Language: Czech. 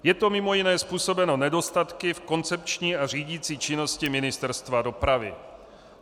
Je to mimo jiné způsobeno nedostatky v koncepční a řídicí činnosti Ministerstva dopravy.